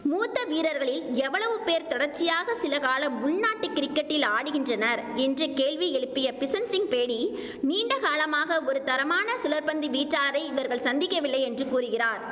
மூத்த வீரர்களில் எவ்வளவு பேர் தொடர்ச்சியாக சில காலம் உள் நாட்டு கிரிக்கெட்டில் ஆடுகின்றனர் என்று கேள்வி எழுப்பிய பிஷன்சிங் பேடி நீண்ட காலமாக ஒரு தரமான சுழற்பந்து வீச்சாளரை இவர்கள் சந்திக்கவில்லை என்று கூறுகிறார்